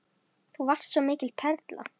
Þú varst svo mikil perla.